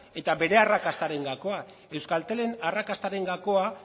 eta bere arrakastaren gakoa euskaltelen arrakastaren gakoa